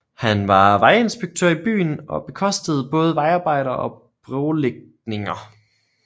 Han var vejinspektør i byen og bekostede både vejarbejder og brolægningninger